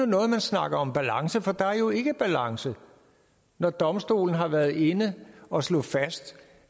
noget man snakker om balance for der er jo ikke balance når domstolen har været inde og slå fast